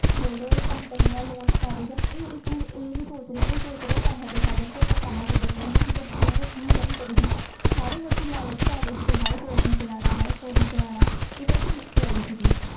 ਜਿਹੜੀਆਂ ਕੰਪਨੀਆਂ launch ਕਰ ਰਹੀਆਂ ਇਹ ਚੀਜ਼ ਸੋਚ ਰਹੇ ਆ ਪੈਸੇ ਦਾ ਸਾਧਨ ਪੈਸੇ ਕੀਦਾ ਕਮੀਏ ਤੇ ਕਰਿ ਸੀ ਸਾਰੇ ਲੋਕੀ ਲਾਲਚ ਆ ਗਏ ਸੀ ਚਾਲਣਾ even ਮੈਂ ਆ ਗਈ ਸੀ